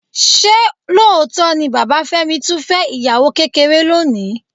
Ṣé lóòótọ́ ni bàbá Fẹ́mi tún fẹ́ ìyàwó kékeré lónìí?